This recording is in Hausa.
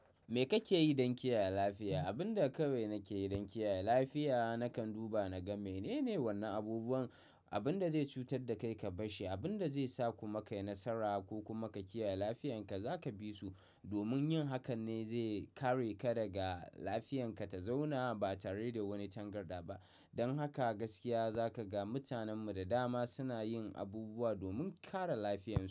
Me kake yi don kiyaye lafiya? Abin da kawai nake yi don kiyaye lafiya, nakan duba na ga menene wannan abubuwan, abin da zai cutar da kai ka bashshi, abin da zai sa ku ma kai nasara ko kuma ka kiyaye lafiyarka za ka bi su. Domin yin hakan ne zai kare ka daga lafiyarka ta zauna ba tare da wani tangarda ba. Don haka gaskiya za ka ga mutanen mu da dama suna yin abubuwa domin kare lafiyarsu.